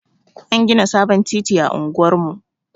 An gina sabon titi a unguwar mu.